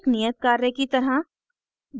एक नियत कार्य की तरह